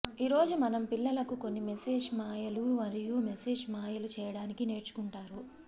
ఈ రోజు మనం పిల్లలకు కొన్ని మేజిక్ మాయలు మరియు మేజిక్ మాయలు చేయడానికి నేర్చుకుంటారు